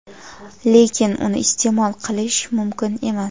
lekin uni iste’mol qilish mumkin emas.